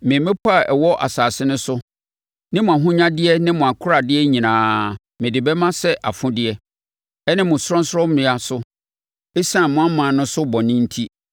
Me mmepɔ a ɛwɔ asase no so ne mo ahonyadeɛ ne mo akoradeɛ nyinaa, mede bɛma sɛ afodeɛ, ɛne mo sorɔnsorɔmmea nso, ɛsiane mo ɔman no so bɔne enti.